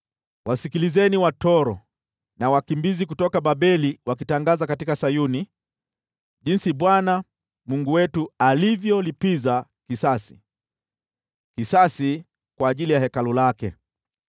Wasikilizeni watoro na wakimbizi kutoka Babeli wakitangaza katika Sayuni jinsi Bwana , Mungu wetu alivyolipiza kisasi, kisasi kwa ajili ya Hekalu lake.